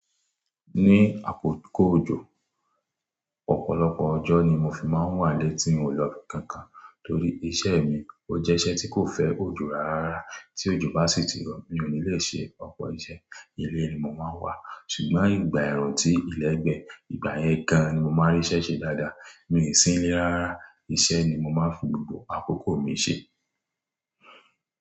Ní àkókò ọjọ, ọ̀pọ̀lọpọ̀ ọjọ́ ni mo fi máa ń wà lé tí n ò lọ kankan torí iṣẹ́ mi ó jẹ́ iṣẹ́ tí kò fẹ́ òjò rárá. Tí òjò bá sì tí rọ̀ mi ò ní lè ṣe ọ̀pọ̀ iṣẹ́. Ilé ni mo máa ń wà ṣùgbọ́n ìgbà ẹ̀rùn tí ilégbè ìgbà yẹn gan an ni mo máa rí iṣẹ́ ṣe dáadáa. Mi i sinlé rárá, iṣẹ́ ni mo máa ń fi gbogbo àkókò mi ṣe.